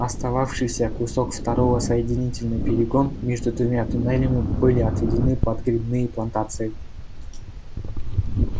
остававшийся кусок второго соединительный перегон между двумя туннелями были отведены под грибные плантации